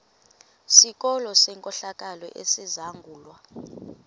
sikolo senkohlakalo esizangulwa